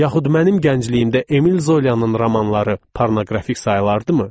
Yaxud mənim gəncliyimdə Emil Zolanın romanları pornoqrafik sayılardımı?